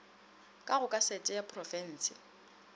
ka go kasete ya porofense